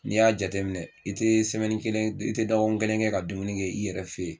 N'i y'a jateminɛ i tɛ kelen, dɔgɔkun kelen kɛ ka dumuni kɛ i yɛrɛ fɛ yen